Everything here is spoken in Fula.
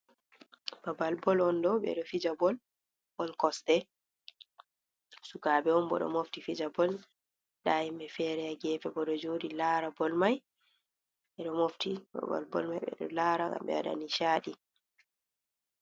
Babal bol on ɗo ɓeɗo fija bol on kosɗe, sukaɓe on boɗo mofti fijabol, nda himɓe fere ha gefe bo ɗo joɗi lara bol mai, ɓeɗo mofti hababal bol mai ɓeɗo lara ngam ɓewaɗa nishaɗi.